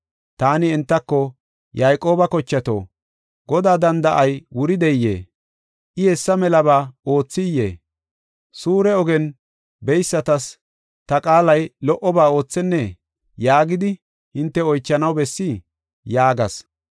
Taani entako, “Yayqooba kochato, Godaa danda7ay wurdeyee? I hessa malaba oothiyee? Suure ogen beysatas ta qaalay lo77oba oothennee? yaagidi hinte oychanaw bessii? yaagas.